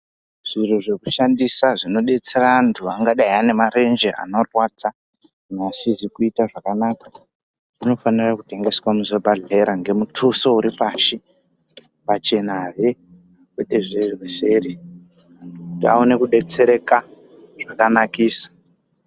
Zviro zvekushandisa zvinodetsera anthu angadei ane marenje anorwadza neasizi kuita zvakanaka anofanira kutengeswa muzvibhadhlera ngemutuso uri pashi pachenahe kwete zverweseri kuti aone kudetsereka zvakanakisa.